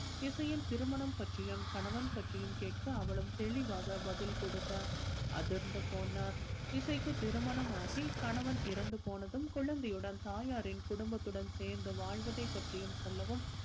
இசையின் திருமணம் பற்றியும் கணவன் பற்றியும் கேட்க அவளும் தெளிவாக பதில் கொடுக்க அதிர்ந்து போனார் இசைக்கு திருமணம் ஆகி கணவன் இறந்து போனதும் குழந்தையுடன் தாயாரின் குடும்பத்துடன் சேர்ந்து வாழ்வதை பற்றியும் சொல்லவும்